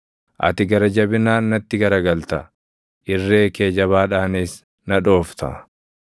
Ati gara jabinaan natti garagalta; irree kee jabaadhaanis na dhoofta.